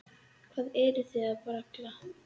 Hvað eruð þið að bralla?